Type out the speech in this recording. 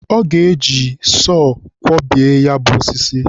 o ga-eji sọ kwọbie ya bụ osisi.